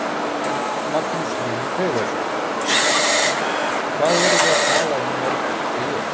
Magnús Hlynur Hreiðarsson: Og hvað erum við að tala um mörg tré?